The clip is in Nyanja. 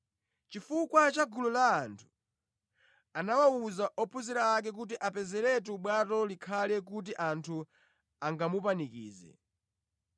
Chifukwa cha gulu la anthu, anawuza ophunzira ake kuti apezeretu bwato likhale, kuti anthu angamupanikize.